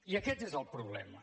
i aquest és el problema